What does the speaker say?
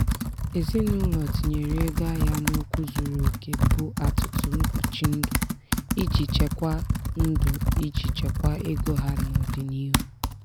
ezinụlọ tinyere ego ahịa n'okwu zuru oke bụ atụtụ mkpuchi ndụ iji chekwaa ndụ iji chekwaa ego ha n'ọdịniihu.